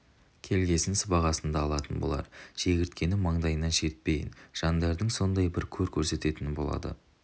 келгесін сыбағасын да алатын болар шегірткені маңдайынан шертпейтін жандардың сондай бір көр көрсететіні болады